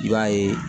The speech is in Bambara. I b'a ye